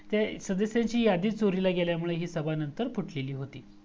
हे सदस्यांची यादीच चोरीला गेल्यामुळे ही सभा नंतर फुटलेली होती